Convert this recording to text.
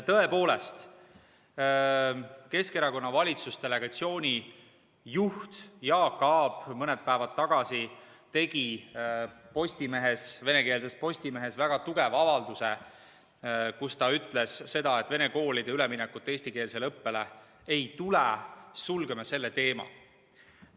Tõepoolest, Keskerakonna valitsusdelegatsiooni juht Jaak Aab tegi mõni päev tagasi venekeelses Postimehes väga tugeva avalduse, öeldes, et vene koolide üleminekut eestikeelsele õppele ei tule, sulgeme selle teema.